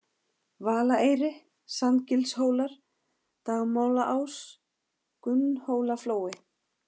Valaeyri, Sandgilshólar, Dagmálaás, Gunnhólaflói